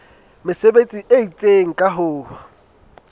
mesebetsi e itseng ka ho